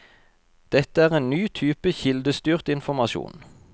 Dette er en ny type kildestyrt informasjon.